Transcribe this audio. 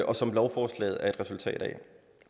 og som lovforslaget er et resultat af